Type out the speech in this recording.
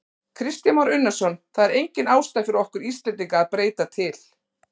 Kristján Már Unnarsson: Það er engin ástæða fyrir okkur Íslendinga að breyta til?